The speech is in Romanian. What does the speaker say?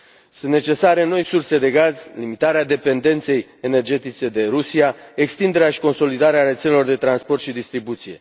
Sunt necesare noi surse de gaz, limitarea dependenței energetice de Rusia, extinderea și consolidarea rețelelor de transport și distribuție.